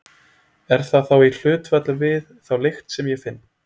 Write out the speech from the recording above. Er það þá í hlutfalli við þá lykt sem ég finn?